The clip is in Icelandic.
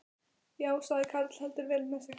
Já, sagði karl heldur vel með sig.